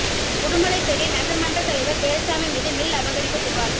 உடுமலைப்பேட்டை நகர் மன்ற தலைவர் வேலுச்சாமி மீது மில் அபகரிப்பு புகார்